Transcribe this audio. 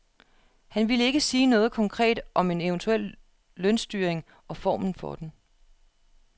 Han ville ikke sige noget konkret om en eventuel lønstyring og formen for den.